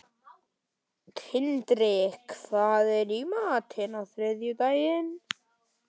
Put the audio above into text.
Tindri, hvað er í matinn á þriðjudaginn?